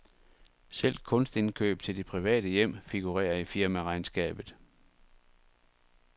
Selv kunstindkøb til det private hjem figurerer i firmaregnskabet.